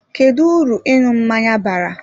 Kedu uru ịṅụ mmanya bara?